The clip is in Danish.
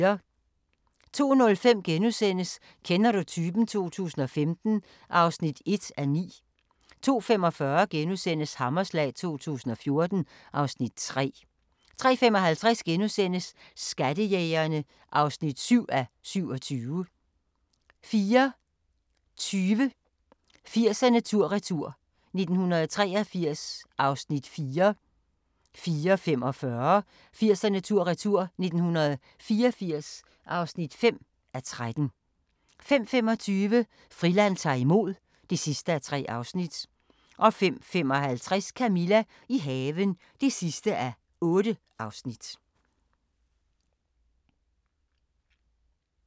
02:05: Kender du typen? 2015 (1:9)* 02:45: Hammerslag 2014 (Afs. 3)* 03:55: Skattejægerne (7:27)* 04:20: 80'erne tur-retur: 1983 (4:13) 04:45: 80'erne tur-retur: 1984 (5:13) 05:25: Friland ta'r imod (3:3) 05:55: Camilla – i haven (8:8)